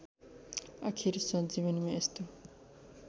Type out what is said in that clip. आखिर सञ्जीवनीमा यस्तो